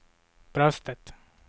bröstet